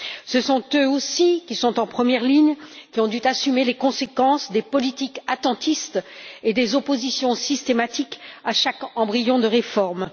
Ce sont eux aussi qui sont en première ligne, qui ont dû assumer les conséquences des politiques attentistes et des oppositions systématiques à chaque embryon de réforme.